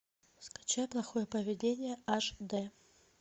скачай плохое поведение аш дэ